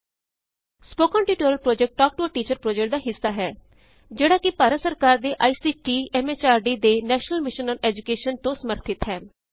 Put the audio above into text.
spoken tutorial project talk to a teacher project ਦਾ ਇਕ ਹਿੱਸਾ ਹੈ ਜਿਹੜਾ ਕਿ ਭਾਰਤ ਸਰਕਾਰ ਦੇ ਆਈਸੀਟੀ ਐਮਐਚਆਰਡੀ ਦੇ ਨੈਸ਼ਨਲ ਮਿਸ਼ਨ ਆਨ ਐਜੂਕੇਸ਼ਨ ਵੱਲੋਂ ਸਮਰਥਿੱਤ ਹੈ